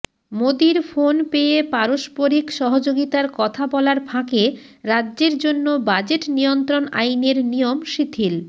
মোদীর ফোন পেয়ে পারস্পরিক সহযোগিতার কথা বলার ফাঁকে রাজ্যের জন্য বাজেট নিয়ন্ত্রণ আইনের নিয়ম শিথিল